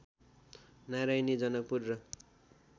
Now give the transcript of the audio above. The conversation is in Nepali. नारायणी जनकपुर र